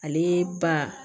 Ale ba